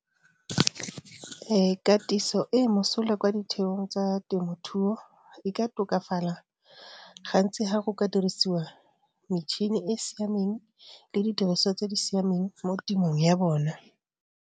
Katiso e e mosola kwa ditheong tsa temothuo e ka tokafala gantsi ga go ka dirisiwa metšhini e e siameng le didiriswa tse di siameng mo temong ya bona.